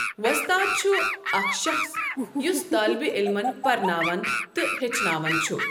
وۄستاد چھُ اَکھ شَخٕص یس طالبِہ ععلمَن پرناوَن تہٕ ہیٚچھناوَن چھُ